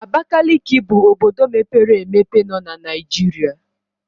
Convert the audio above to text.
Abakaliki bụ obodo mepere emepe nọ na Naijiria.